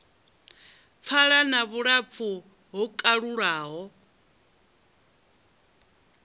pfala na vhulapfu ho kalulaho